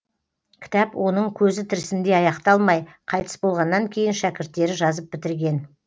кітап оның көзі тірісінде аяқталмай қайтыс болғаннан кейін шәкірттері жазып бітірген